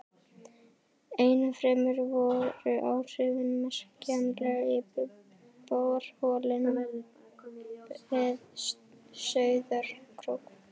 Ennfremur voru áhrifin merkjanleg í borholum við Sauðárkrók.